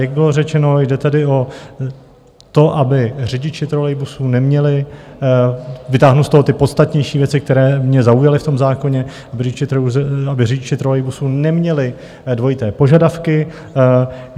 Jak bylo řečeno, jde tady o to, aby řidiči trolejbusů neměli - vytáhnu z toho ty podstatnější věci, které mě zaujaly v tom zákoně - aby řidiči trolejbusů neměli dvojité požadavky.